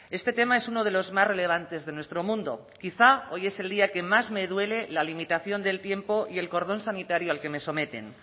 este tema es uno de los más relevantes de nuestro mundo quizá hoy es el día que más me duele la limitación del tiempo y el cordón sanitario al que me someten